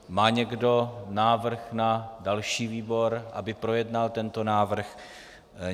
Má někdo návrh na další výbor, aby projednal tento návrh?